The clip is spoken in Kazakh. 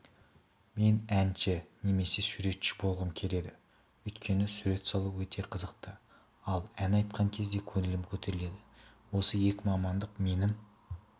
мен әнші немесе суретші болғым келеді өйткені сурет салу өте қызықты ал ән айтқан кезде көңілім көтеріледі осы екі мамандық менің